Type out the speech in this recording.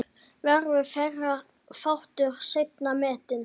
Verður þeirra þáttur seint metinn.